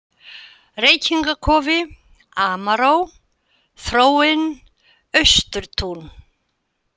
Reykingakofi, Amaró, Þróin, Austurtún